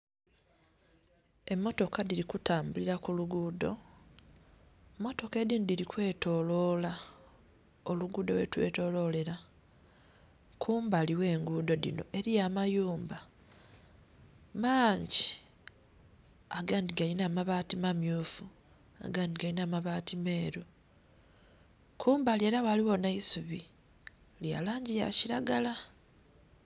Emmotoka dhili ku tambulila ku luguudho, mmotoka edindhi dhili kwetolola olugudho ghe lwetololela. Kumbali gh'enguudho dhino eliyo amayumba maangi agandhi galinha amabaati mammyufu agandhi galinha amabaati meeru. Kumbali ela ghaligho nh'eisubi lya langi ya kilagala.